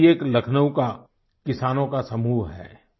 ऐसा ही एक लखनऊ का किसानों का समूह है